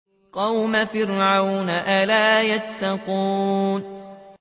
قَوْمَ فِرْعَوْنَ ۚ أَلَا يَتَّقُونَ